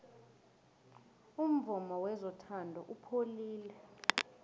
umvumo wezothando upholile